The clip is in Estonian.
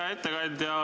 Hea ettekandja!